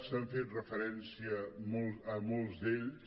s’ha fet referència a molts d’ells